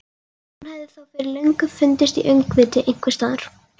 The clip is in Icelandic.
Hún hefði þá fyrir löngu fundist í öngviti einhvers staðar.